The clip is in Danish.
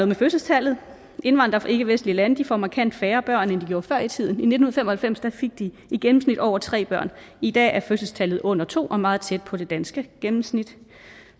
med fødselstallet indvandrere fra ikkevestlige lande får markant færre børn end de gjorde før i tiden i nitten fem og halvfems fik de i gennemsnit over tre børn i dag er fødselstallet under to og meget tæt på det danske gennemsnit